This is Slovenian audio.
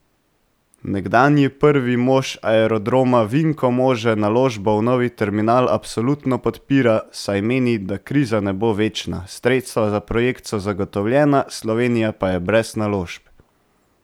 Nekdanji prvi mož Aerodroma Vinko Može naložbo v novi terminal absolutno podpira, saj meni, da kriza ne bo večna, sredstva za projekt so zagotovljena, Slovenija pa je brez naložb.